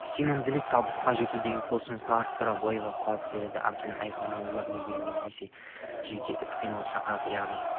сенімділік табысқа жетуге деген құлшынысты арттырады бойға қуат береді әбден айқындалған өмір беруге немесе жеке іс-қимылға шақырады яғни